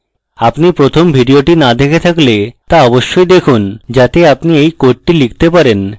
আপনি প্রথম video না দেখে থাকলে তা অবশ্যই দেখুন যাতে আপনি এই code লিখতে পারেন